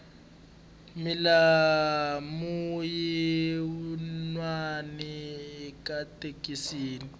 milawu yinwani ayi twisiseki